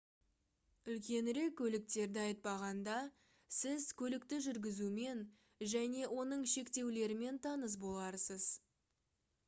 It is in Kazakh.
үлкенірек көліктерді айтпағанда сіз көлікті жүргізумен және оның шектеулерімен таныс боларсыз